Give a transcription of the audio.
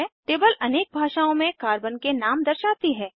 table अनेक भाषाओँ में कार्बन के नाम दर्शाती है